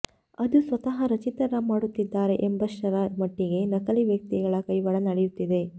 ಅದು ಸ್ವತಃ ರಚಿತಾ ರಾಮ್ ಮಾಡುತ್ತಿದ್ದಾರೆ ಎಂಬಷ್ಟರ ಮಟ್ಟಿಗೆ ನಕಲಿ ವ್ಯಕ್ತಿಗಳ ಕೈವಾಡ ನಡೆಯುತ್ತಿದೆ